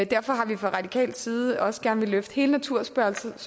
derfor har vi fra radikal side også gerne villet løfte hele naturspørgsmålet